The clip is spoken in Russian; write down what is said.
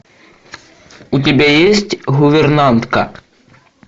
у тебя есть гувернантка